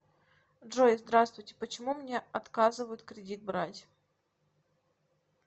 джой здравствуйте почему мне октазывают кредит брать